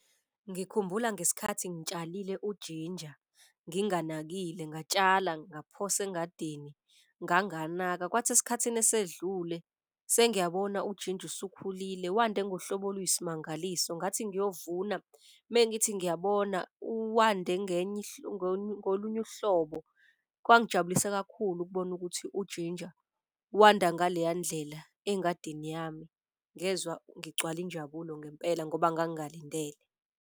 Ngikhumbula ngesikhathi ngitshalile ujinja nginganakile ngatshala, ngaphosa engadini nganganaka. Kwathi esikhathini esedlule, sengiyabona ujinja usukhulile, wande ngohlobo oluyisimangaliso. Ngathi ngiyovuna mengithi ngiyabona wande ngolunye uhlobo. Kwangijabulisa kakhulu ukubona ukuthi ujinja wanda ngaleya ndlela engadini yami, ngezwa ngigcwala injabulo ngempela ngoba ngangingalindele.